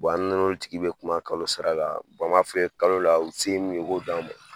an n'olu tigi bɛ kuma kalo sara la, an b'a f'u ye kalo la, u se ye min u k'o d'an ma.